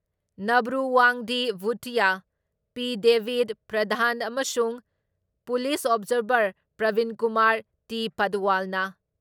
Nabru Wangdi Bhutia, P. ꯗꯦꯕꯤꯗ ꯄ꯭ꯔꯙꯥꯟ ꯑꯃꯁꯨꯡ police observer Pravinkumar T. ꯄꯗꯋꯥꯜꯅ